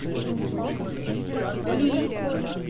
лилль